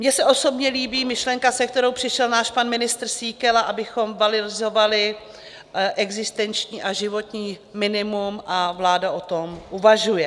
Mně se osobně líbí myšlenka, se kterou přišel náš pan ministr Síkela, abychom valorizovali existenční a životní minimum, a vláda o tom uvažuje.